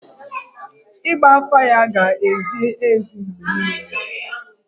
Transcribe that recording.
Ịgba afa ya ga-ezi ezi mgbe niile.